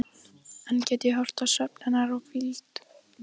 Enn get ég horft á svefn hennar og hvíld.